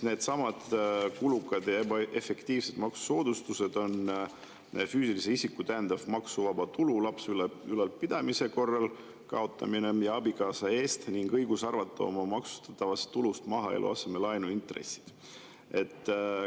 Needsamad kulukad ja ebaefektiivsed maksusoodustused on füüsilise isiku täiendav maksuvaba tulu lapse ülalpidamise korral ja abikaasa eest ning õigus arvata oma maksustatavast tulust maha eluasemelaenu intressid.